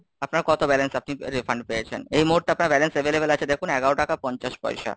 আপনার কত balance আপনি refund পেয়েছেন? এই মুহূর্তে আপনার balance available আছে দেখুন এগারো টাকা পঞ্চাশ পয়সা।